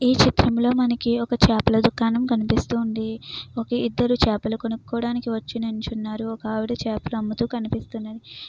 ఈ చిత్రంలో మనకి ఒక చేపల దుకాణం కనిపిస్తుంది. ఒక ఇద్దరు చేపలు కొనుక్కోవడానికి వచ్చి ఉన్నారు. ఒక ఆవిడ చేపలు అమ్ముతూ కనిపిస్తుంది.